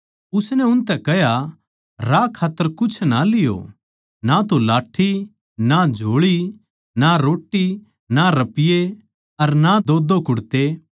उसनै उनतै कह्या राह खात्तर कुछ ना लियो ना तो लाठ्ठी ना झोळी ना रोट्टी ना रपिये अर ना दोदो कुड़ते